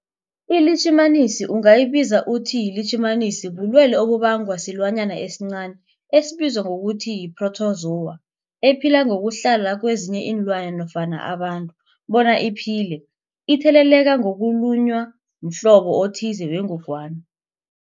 iLitjhimanisi ungayibiza uthiyilitjhimanisi, bulwelwe obubangwa silwanyana esincani esibizwa ngokuthiyi-phrotozowa ephila ngokuhlala kezinye iinlwana, abantu bona iphile itheleleka ngokulunywa mhlobo othize wengogwana.